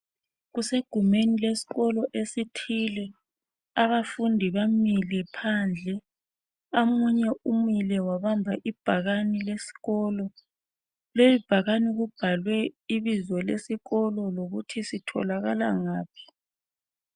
Kusegumeni leskolo esithile. Abafundi bamile phandle. Amunye umile wabamba ibhakani leskolo. Leli bhakani kubhalwe ibizo lesikolo lokuthi sitholakala ngaphi.